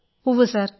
ഉവ്വ് സർ